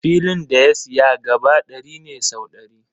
Filin da ya siya gaba ɗari ne sau ɗari.